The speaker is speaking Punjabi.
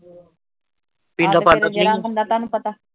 ਆ ਤੇ ਫੇਰ ਜਿਹੜਾ ਬੰਦਾ ਤੁਹਾਨੂੰ ਪਤਾ